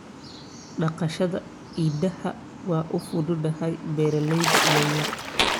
Dhaqashada idaha waa u fududahay beeralayda yaryar.